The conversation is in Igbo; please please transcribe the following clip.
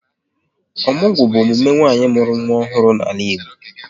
Ọmụgwọ bụ emume nwanyị mụrụ nwa ọhụrụ n'ala Igbo